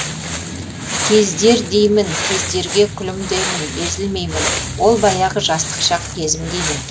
кездер деймін кездерге күлімдеймін езілмеймін ол баяғы жастық шақ кезім деймін